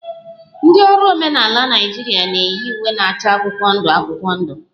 Ndị ọrụ omenala Naịjirịa na-eyi uwe na-acha akwụkwọ ndụ akwụkwọ ndụ